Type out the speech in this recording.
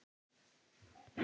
Hvað segir hann meira?